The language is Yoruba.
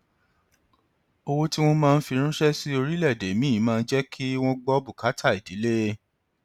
owó tí wọn máa ń fi ránṣẹ sí orílẹèdè míì máa ń jẹ kí wọn gbọ bùkátà ìdílé